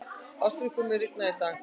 Ástríkur, mun rigna í dag?